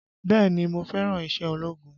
Bẹ́ẹ̀ni mo fẹ́ràn iṣẹ́ ológun